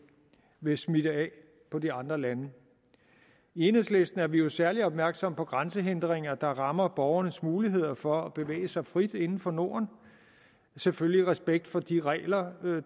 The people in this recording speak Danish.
vil smitte af på de andre lande i enhedslisten er vi jo særlig opmærksomme på grænsehindringer der rammer borgernes mulighed for at bevæge sig frit inden for norden selvfølgelig i respekt for de regler